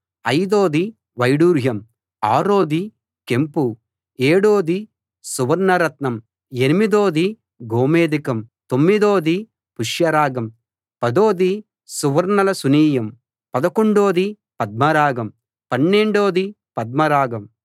అయిదోది వైఢూర్యం ఆరోది కెంపు ఏడోది సువర్ణ రత్నం ఎనిమిదోది గోమేధికం తొమ్మిదోది పుష్యరాగం పదోది సువర్ణలశునీయం పదకొండోది పద్మరాగం పన్నెండోది పద్మరాగం